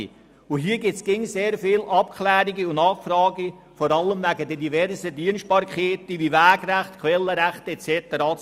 Bei diesen gibt es immer sehr viele Abklärungen und Nachfragen zu tätigen, vor allem wegen der diversen Dienstbarkeiten wie Wegrechte, Quellenrechte usw.